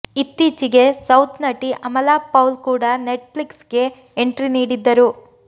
ಇತ್ತೀಚಿಗಷ್ಟೆ south ನಟಿ ಅಮಲಾ ಪೌಲ್ ಕೂಡ Netflix ಗೆ ಎಂಟ್ರಿ ನೀಡಿದ್ದರು